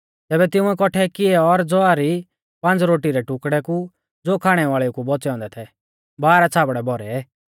तैबै तिंउऐ कौठै किऐ और ज़ौआ री पांज़ रोटी रै टुकड़ै कु ज़ो खाणै वाल़ेउ कु बौच़ै औन्दै थै बारह छ़ाबड़ै भौरै